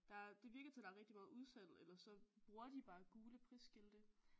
Der er det virker til at der er rigtigt meget udsalg eller så bruger de bare gule prisskilte